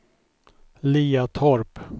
Liatorp